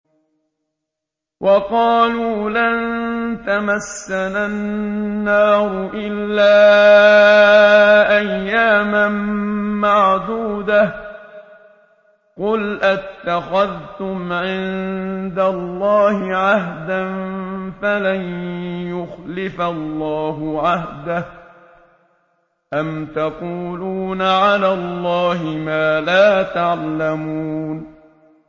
وَقَالُوا لَن تَمَسَّنَا النَّارُ إِلَّا أَيَّامًا مَّعْدُودَةً ۚ قُلْ أَتَّخَذْتُمْ عِندَ اللَّهِ عَهْدًا فَلَن يُخْلِفَ اللَّهُ عَهْدَهُ ۖ أَمْ تَقُولُونَ عَلَى اللَّهِ مَا لَا تَعْلَمُونَ